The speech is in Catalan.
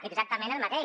exactament el mateix